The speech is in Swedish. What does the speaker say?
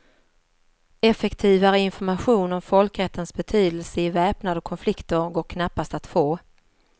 Effektivare information om folkrättens betydelse i väpnade konflikter går knappast att få.